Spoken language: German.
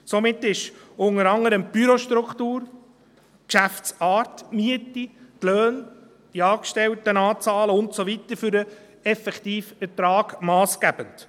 Somit sind unter anderem die Bürostruktur, die Geschäftsart, die Miete, die Löhne, die Angestelltenanzahlen und so weiter für den effektiven Ertrag massgebend.